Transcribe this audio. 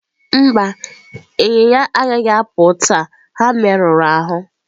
Mba, ịnyịnya agaghị apụ taa ha merụrụ ahụ.